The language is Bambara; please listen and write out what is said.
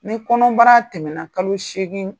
Ni kɔnɔbara tɛmɛna kalo segin